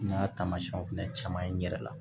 N y'a taamasiyɛnw fɛnɛ caman ye n yɛrɛ la